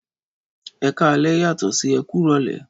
Ẹkalẹ yatọ sí ekurole